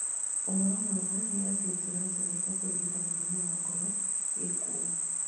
Ũhoro mwega nĩ atĩ njĩra njega cia kũrigita mũrimũ wa ngoro i kuo